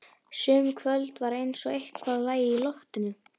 Sum kvöld var eins og eitthvað lægi í loftinu.